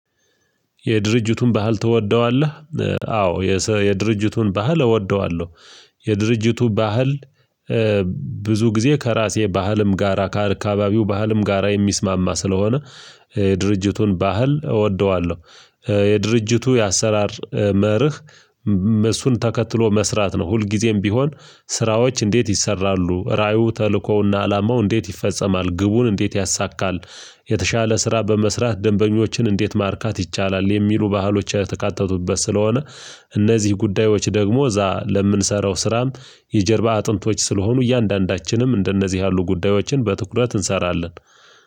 የድርጅቱን ባህል ትወደዋለህ? አዎ፤ የድርጅቱን ባህል እወደዋለሁ። የድርጅቱ ባህል ብዙ ጊዜ ከራሴ ባህልም ጋራ ከአካባቢው ባህልም ጋራ የሚስማማ ስለሆነ የድርጅቱን ባህል እወደዋለሁ። የድርጅቱ የአሰራር መርህ እሱን ተከትሎ መስራት ነው። ሁልጊዜም ቢሆን ስራዎች እንዴት ይሰራሉ፣ ራእዩ ተልኮውና አላማው እንዴት ይፈጸማል፣ ግቡን እንዴት ያሳካል፣ የተሻለ ስራ በመስራት ደንበኞችን እንዴት ማርካት ይቻላል። የሚሉ ባህሎች የተካተቱበት ስለሆነ እነዚህ ጉዳዮች ደግሞ እዛ ለምንሰራው ስራም የጀርባ አጥንቶች ስለሆኑ እያንዳንዳችንም እንደነዚህ ያሉ ጉዳዮችን በትኩረት እንሰራለን።